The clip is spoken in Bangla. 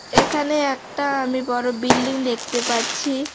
এখানে একটা আমি বড়ো বিল্ডিং দেখতে পাচ্ছি।